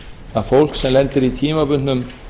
að fólk sem lendir í tímabundnum